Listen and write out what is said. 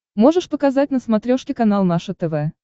можешь показать на смотрешке канал наше тв